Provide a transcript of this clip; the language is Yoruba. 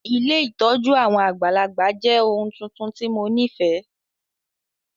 Ilé ìtójú àwon àgbàlagbà jẹ oun tuntun ti mo nifẹ.